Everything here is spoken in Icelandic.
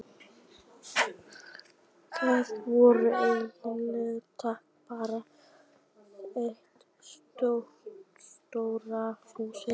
Þar voru engin tæki, bara eitt stórt hús.